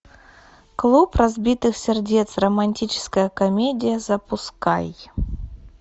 клуб разбитых сердец романтическая комедия запускай